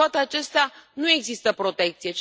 Cu toate acestea, nu există protecție.